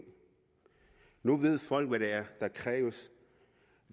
nu ved folk hvad der kræves